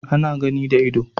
Ana gani da ido